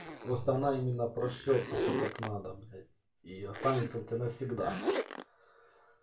просто она именно прошьеться так как надо блять и останется у тебя навсегда